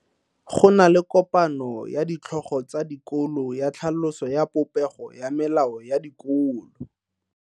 Go na le kopano ya ditlhogo tsa dikolo ya tlhaloso ya popego ya melao ya dikolo.